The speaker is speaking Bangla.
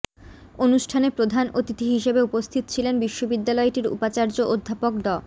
অনুষ্ঠানে প্রধান অতিথি হিসেবে উপস্থিত ছিলেন বিশ্ববিদ্যালয়টির উপাচার্য অধ্যাপক ড